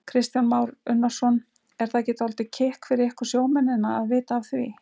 Kristján Már Unnarsson: Er það ekki dálítið kikk fyrir ykkur sjómennina að vita af því?